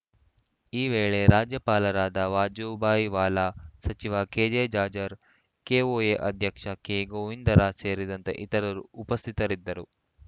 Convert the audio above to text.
ಈ ವೇಳೆ ರಾಜ್ಯಪಾಲರಾದ ವಾಜುಭಾಯಿ ವಾಲ ಸಚಿವ ಕೆಜೆ ಜಾಜ್‌ರ್‍ ಕೆಒಎ ಅಧ್ಯಕ್ಷ ಕೆ ಗೋವಿಂದರಾಜ್‌ ಸೇರಿದಂತೆ ಇತರರು ಉಪಸ್ಥಿತರಿದ್ದರು